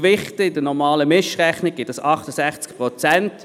Wenn dies in der normalen Mischrechnung gewichtet wird, ergibt dies 68 Prozent.